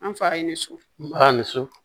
An fa ye nin su ba ni su